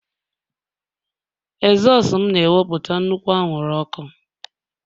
ezosu m na-ewepụta nnukwu anwụrụ ọkụ